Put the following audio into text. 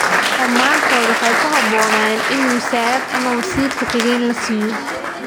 “Dhammaantood waxay ku habboonaayeen in wasaarad ama wasiir ku-xigeen la siiyo.